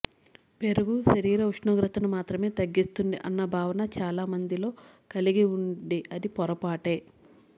పెరుగు శరీర ఉష్ణోగ్రతను మాత్రమే తగ్గిస్తుంది అన్న భావన చాలా మందిలో కలిగి ఉంది అది పొరపాటే